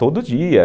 Todo dia.